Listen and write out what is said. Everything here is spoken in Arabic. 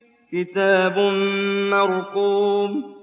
كِتَابٌ مَّرْقُومٌ